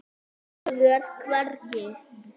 Ég er hvergi.